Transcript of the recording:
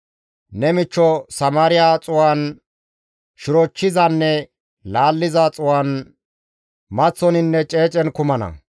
Ne michcho Samaariya xuu7an, shirochchizanne laalliza xuu7an, maththoninne ceecen ne kumana.